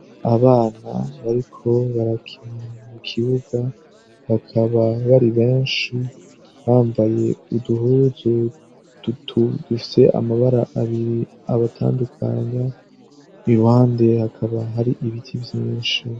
Abana bariko barakina mukibuga bakaba bari benshi bambaye uduhuzu dutu dufise amabara abiri abatandukanya, iruhande hakaba har'ibiti vyinshi.